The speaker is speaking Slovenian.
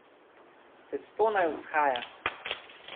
Testo naj vzhaja.